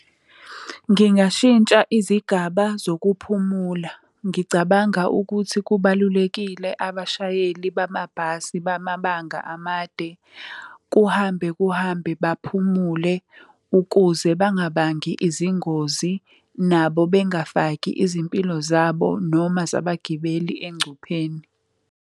Ngingashintsha izigaba zokuphumula. Ngicabanga ukuthi kubalulekile abashayeli bamabhasi bamabanga amade kuhambe kuhambe baphumule ukuze bangabangi izingozi nabo bengafaki izimpilo zabo noma zabagibeli engcupheni.